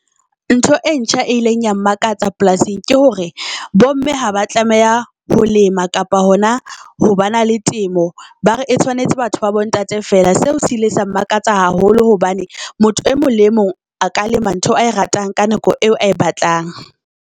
Ntho e ntjha e ileng ya mmakatsa polasing ke hore bo mme haba tlameha ho lema kapa hona ho ba na le temo. Ba re e tshwanetse batho ba bo ntate fela. Seo sile sa mmakatsa haholo hobane motho e mong le e mong a ka lema ntho ae ratang ka nako eo ae batlang.